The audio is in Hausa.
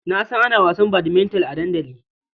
Na san ana wasan badminton a dandali.